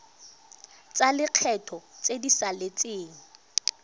tsa lekgetho tse di saletseng